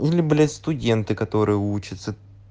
или блять студенты которые учатся